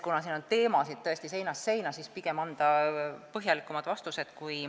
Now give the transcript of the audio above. Kuna siin on teemasid tõesti seinast seina, siis pigem on õige anda põhjalikumad vastused.